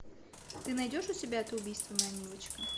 ты найдешь у себя это убийство моя милочка